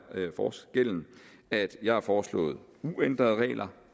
forskellen at jeg har foreslået uændrede regler